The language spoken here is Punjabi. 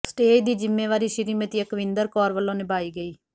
ਸਟੇਜ ਦੀ ਜ਼ਿੰਮੇਵਾਰੀ ਸ੍ਰੀਮਤੀ ਅਕਵਿੰਦਰ ਕੌਰ ਵੱਲੋਂ ਨਿਭਾਈ ਗਈ